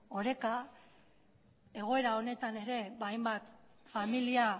oreka egoera honetan ere hainbat familia